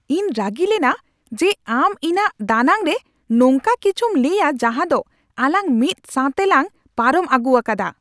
ᱤᱧ ᱨᱟᱹᱜᱤ ᱞᱮᱱᱟ ᱡᱮ ᱟᱢ ᱤᱧᱟᱹᱜ ᱫᱟᱱᱟᱝ ᱨᱮ ᱱᱚᱝᱟ ᱠᱤᱪᱷᱩᱢ ᱞᱟᱹᱭᱟ ᱡᱟᱦᱟᱸ ᱫᱚ ᱟᱞᱟᱝ ᱢᱤᱫ ᱥᱟᱶᱛᱮ ᱞᱟᱝ ᱯᱟᱨᱚᱢ ᱟᱹᱜᱩ ᱟᱠᱟᱫᱟ ᱾